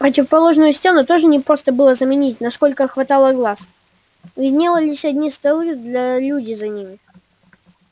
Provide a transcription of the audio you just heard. противоположную стену тоже не просто было заменить насколько хватало глаз виднелись одни столы да люди за ними